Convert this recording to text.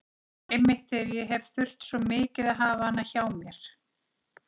Einmitt þegar ég hefði þurft svo mikið að hafa hana hjá mér.